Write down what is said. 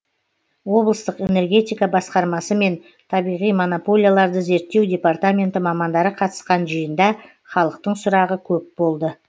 облыстық энергетика басқармасы мен табиғи монополияларды зерттеу департаменті мамандары қатысқан жиында халықтың сұрағы көп болды